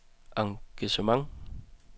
engagement